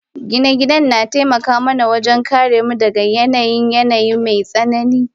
Gine-gine na taimaka mana wajen kare mu daga yanayin yanayi mai tsanani.